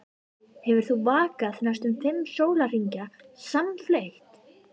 Hefur þá vakað næstum fimm sólarhringa samfleytt.